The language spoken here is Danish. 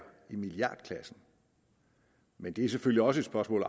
i milliardklassen men det er selvfølgelig også et spørgsmål